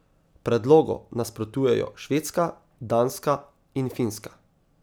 Predlogu nasprotujejo Švedska, Danska in Finska.